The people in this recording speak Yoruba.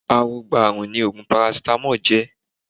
Awogbaààrùn ni oògùn parasítámọ̀ jẹ́